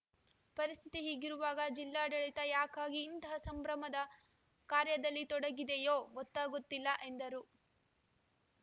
ಪರಿಸ್ಥಿತಿ ಹೀಗಿರುವಾಗ ಜಿಲ್ಲಾಡಳಿತ ಯಾಕಾಗಿ ಇಂತಹ ಸಂಭ್ರಮದ ಕಾರ್ಯದಲ್ಲಿ ತೊಡಗಿದೆಯೋ ಗೊತ್ತಾಗುತ್ತಿಲ್ಲ ಎಂದರು